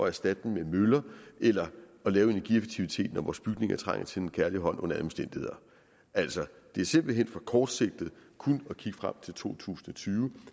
erstatte dem med vindmøller eller lave energieffektivitet når vores bygninger trænger til en kærlig hånd under alle omstændigheder altså det er simpelt hen for kortsigtet kun at kigge frem til to tusind og tyve